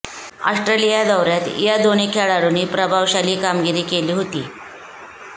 Australia दौऱ्यात या दोन्ही खेळाडूंनी प्रभावशाली कामगिरी केली होती